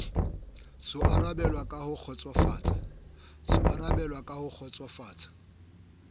so arabelwe ka ho kgotsofatsa